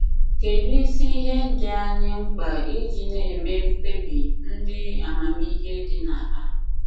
Kedụ isi ihe dị anyị mkpa iji na - eme mkpebi ndị amamihe dị na ha?